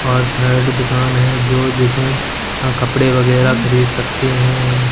और थर्ड दुकान है जो जिसमें हा कपड़े वगेरा खरीद सकते है हम--